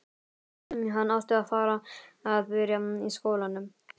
Hann átti að fara að byrja í skólanum.